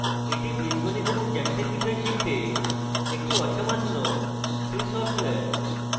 এটি বীজগণিত এবং geometry বিষয় শিখতে একটি অসামান্য free সফটওয়্যার